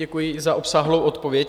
Děkuji za obsáhlou odpověď.